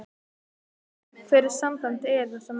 Hvert er samband yðar við þessa menn?